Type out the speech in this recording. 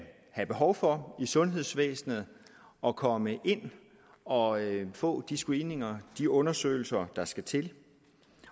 behov for i sundhedsvæsenet at komme ind og få de screeninger de undersøgelser der skal til